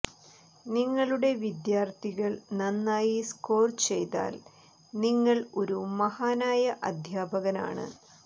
നിങ്ങളുടെ വിദ്യാർത്ഥികൾ നന്നായി സ്കോർ ചെയ്താൽ നിങ്ങൾ ഒരു മഹാനായ അധ്യാപകനാണ്